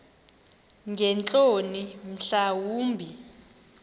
ngeentloni mhla wumbi